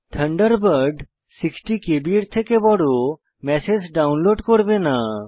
Thunderbird 60কেবি এর থেকে বড় ম্যাসেজ ডাউনলোড করবে না